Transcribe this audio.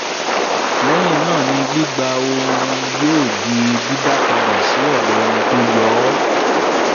lẹ́hìn náà ni gbígbà ọ̀hún yóò di dídá padà sí ọ̀dọ̀ ẹni tí ó yọ ọ́.